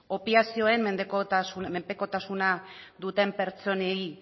opiazioen menpekotasuna duten pertsonei